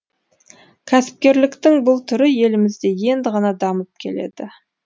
кәсіпкерліктің бұл түрі елімізде енді ғана дамып келеді